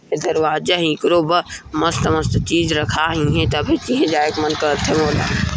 दरवाजा इक्रो बा मस्त मस्त चीज रखा हे तभी जाइक मन करथे मोला।